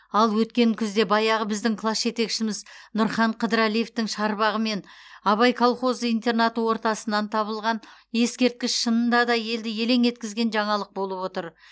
ал өткен күзде баяғы біздің класс жетекшіміз нұрхан қыдырәлиевтің шарбағы мен абай колхозы интернаты ортасынан табылған ескерткіш шынында да елді елең еткізген жаңалық болып отыр